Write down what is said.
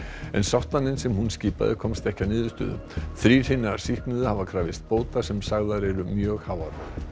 en sáttanefnd sem hún skipaði komst ekki að niðurstöðu þrír hinna sýknuðu hafa krafist bóta sem sagðar eru mjög háar